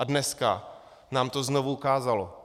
A dneska nám to znovu ukázalo.